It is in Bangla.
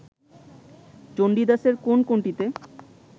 চণ্ডীদাসের কোন কোনটিতে